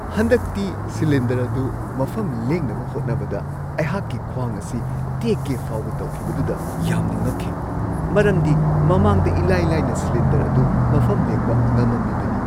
ꯍꯟꯗꯛꯇꯤ ꯁꯤꯂꯤꯟꯗꯔ ꯑꯗꯨ ꯃꯐꯝ ꯂꯦꯡꯅꯕ ꯍꯣꯠꯅꯕꯗ ꯑꯩꯍꯥꯛꯀꯤ ꯈ꯭ꯋꯥꯡ ꯑꯁꯤ ꯇꯦꯛꯀꯦ ꯐꯥꯎꯕ ꯇꯧꯈꯤꯕꯗꯨꯗ ꯌꯥꯝꯅ ꯉꯛꯈꯤ, ꯃꯔꯝꯗꯤ ꯃꯃꯥꯡꯗ ꯏꯂꯥꯏ-ꯂꯥꯏꯅ ꯁꯤꯂꯤꯟꯗꯔ ꯑꯗꯨ ꯃꯐꯝ ꯂꯦꯡꯕ ꯉꯝꯃꯝꯃꯤꯕꯅꯤ꯫